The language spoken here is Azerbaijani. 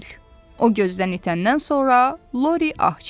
O gözdən itəndən sonra Lori ah çəkdi.